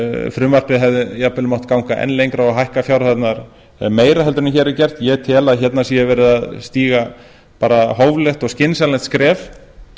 frumvarpið hefði jafnvel mátt ganga enn lengra og hækka fjárhæðirnar meira heldur en hér er gert ég tel að hérna sé verið að stíga hóflegt og skynsamlegt skref